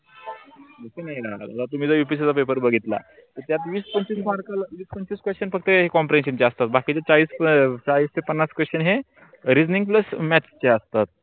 तस नाही ना तुम्ही जर upsc चा पेपर बघितला त्यात विस पंचविस mark विस पंचविस question फक्त compression जास्त बाकीचे चाळीस ते पन्नास question हे reasoning ला math च्या असतात.